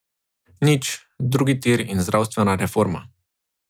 Nič, drugi tir in zdravstvena reforma.